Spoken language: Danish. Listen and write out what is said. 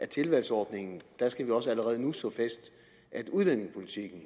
tilvalgsordningen også allerede nu skal slå fast at udlændingepolitikken